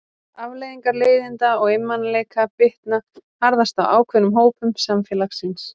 Afleiðingar leiðinda og einmanaleika bitna harðast á ákveðnum hópum samfélagsins.